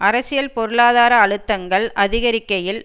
அரசியல் பொருளாதார அழுத்தங்கள் அதிகரிக்கையில்